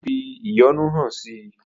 Ó fi ìyọ́nú hàn si.